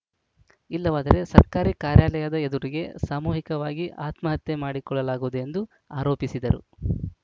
ಇಲ್ಲವಾದರೆ ಸರ್ಕಾರಿ ಕಾರ್ಯಾಲಯದ ಎದುರಿಗೆ ಸಾಮೂಹಿಕವಾಗಿ ಆತ್ಮ ಹತ್ಯೆ ಮಾಡಿಕೊಳ್ಳಲಾಗುವುದು ಎಂದು ಆರೋಪಿಸಿದರು